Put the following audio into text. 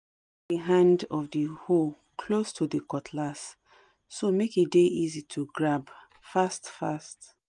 we hang the hand of the hoe close to de cutlass so make e dey easy to grab fast fast